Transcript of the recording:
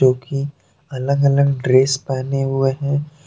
जोकि अलग अलग ड्रेस पहने हुए हैं।